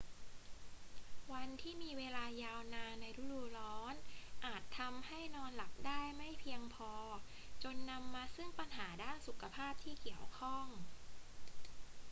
วันที่มีเวลายาวนานในฤดูร้อนอาจทำให้นอนหลับได้ไม่เพียงพอจนนำมาซึ่งปัญหาด้านสุขภาพที่เกี่ยวข้อง